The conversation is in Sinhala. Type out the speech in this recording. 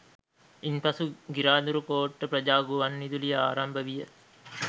ඉන්පසු ගිරාදුරුකෝට්ට ප්‍රජා ගුවන්විදුලිය ආරම්භවිය